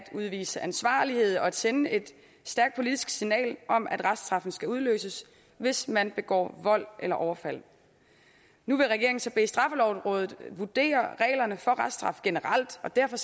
udvise ansvarlighed og sende et stærkt politisk signal om at reststraffen skal udløses hvis man begår vold eller overfald nu vil regeringen så bede straffelovrådet vurdere reglerne for reststraf generelt og derfor